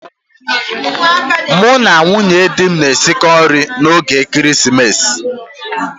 Mụ na ndị nwunye di m na-esikọ nri 'oge ekeresimesi.